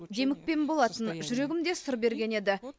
демікпем болатын жүрегім де сыр берген еді